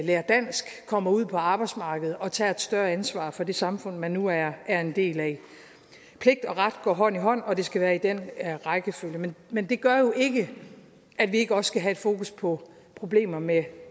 lærer dansk kommer ud på arbejdsmarkedet og tager et større ansvar for det samfund man nu er er en del af pligt og ret går hånd i hånd og det skal være i den rækkefølge men det gør jo ikke at vi ikke også skal have et fokus på problemer med